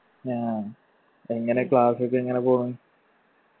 ആ. എങ്ങനെ class ഒക്കെ എങ്ങനെ പോണു